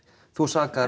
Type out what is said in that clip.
þú sakar